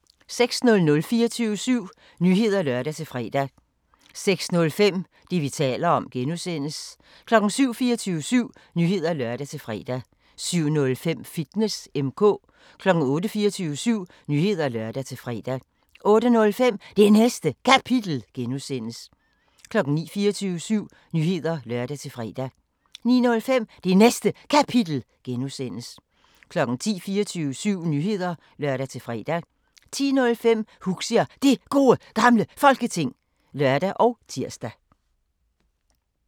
06:00: 24syv Nyheder (lør-fre) 06:05: Det, vi taler om (G) 07:00: 24syv Nyheder (lør-fre) 07:05: Fitness M/K 08:00: 24syv Nyheder (lør-fre) 08:05: Det Næste Kapitel (G) 09:00: 24syv Nyheder (lør-fre) 09:05: Det Næste Kapitel (G) 10:00: 24syv Nyheder (lør-fre) 10:05: Huxi og Det Gode Gamle Folketing (lør og tir)